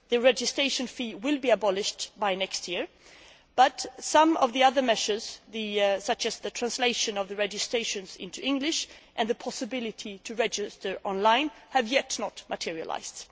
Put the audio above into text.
The registration fee will be abolished by next year, but some of the other measures, such as the translation of the registrations into English and the possibility to register online, have not yet materialised.